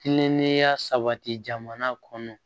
Kilennenya sabati jamana kɔnɔ